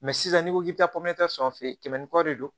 Mɛ sisan n'i ko k'i bɛ taa fɛ kɛmɛ ni kɔ de don